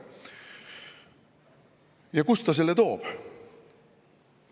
Ja kust ta selle toob?